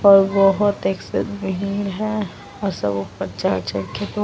और बहुत भीड़ है और सब ऊपर चढ़ चढ़ के --